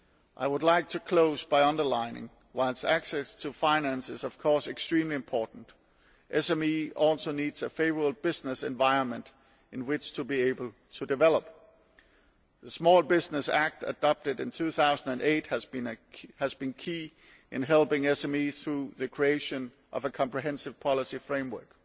I would like to close by emphasising that, while access to finance is, of course, extremely important, SMEs also need a favourable business environment in which to be able to develop. The Small Business Act, adopted in 2008, has been key in helping SMEs, through the creation of a comprehensive policy framework.